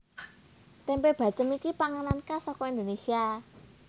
Tempe bacem iki panganan khas saka Indonesia